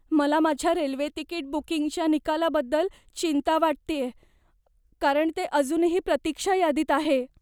मला माझ्या railway ticket बुकिंगच्या निकालाबद्दल चिंता वाटतेय कारण ते अजूनही प्रतीक्षा यादीत आहे.